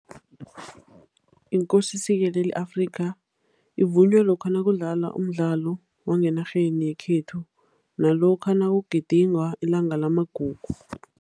INkosi sikelela i-Afrika evunywa lokha nakudlalwa umdlalo wangenarheni yekhethu nalokha nakugidingwa ilanga lamagugu.